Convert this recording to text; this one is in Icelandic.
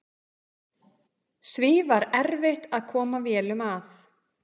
Því var erfitt að koma vélum að.